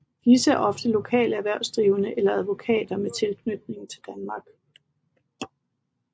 Disse er ofte lokale erhvervsdrivende eller advokater med tilknytning til Danmark